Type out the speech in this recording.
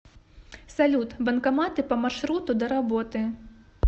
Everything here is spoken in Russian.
салют банкоматы по маршруту до работы